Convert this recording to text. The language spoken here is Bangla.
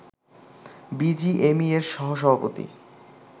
বিজিএমইএর সহ সভাপতি